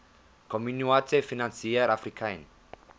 communaute financiere africaine